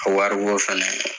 A waribɔ fɛnɛ